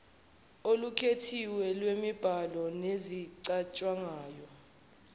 olukhethiwe lwemibhalo nezicatshangwayo